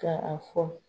Ka a fɔ